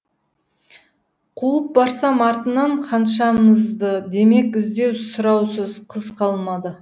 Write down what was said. қуып барсам артынан ханшамызды демек іздеу сұраусыз қыз қалмады